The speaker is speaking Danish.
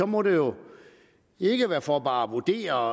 må det jo ikke være for bare at vurdere